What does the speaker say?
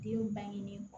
Den bangenen